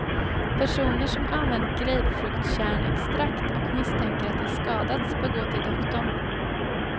Personer som använt grapefruktkärnextrakt och misstänker att de skadats bör gå till doktorn.